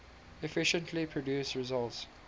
efficiently produce results